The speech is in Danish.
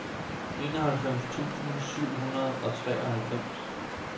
enoghalvfems tusind syv hundrede og treoghalvfems